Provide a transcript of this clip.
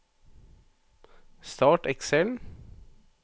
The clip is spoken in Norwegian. Start Excel